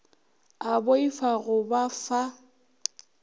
a boifa go ba fa